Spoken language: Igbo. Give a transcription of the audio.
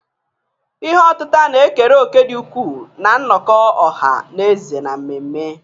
Ihe otita na-ekere òkè dị ukwuu na nnọkọ ọha na eze na mmemme.